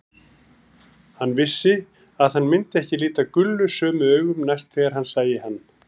Hann vissi að hann myndi ekki líta Gulla sömu augum næst þegar hann sæi hann.